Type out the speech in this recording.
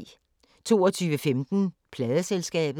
22:15: Pladeselskabet